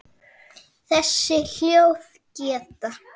Þessi hljóð geta